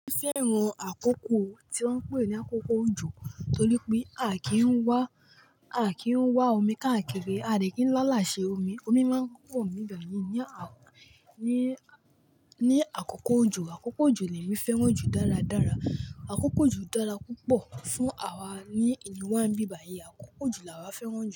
Mo fẹ́ran àkókò tí wọ́n ń pè ní àkókò òjò torí pé a kì í ń wá, a kì í wá omi káàkiri, a dẹ̀ kì í láàlá ṣe omi, omi máa ń pọ̀ ní ìgbà yìí ní à, ní, ní àkókò òjò. Àkókò òjò ni èmi fẹ́ràn jù dáradára. Àkókò òjò dára púpọ̀ fún àwa ní ìlú wá ń bí bayii, àkókò òjò làwa fẹ́ràn jù.